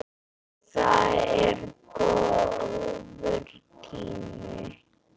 Það er góður tími.